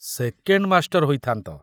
Second master ହୋଇଥାନ୍ତ।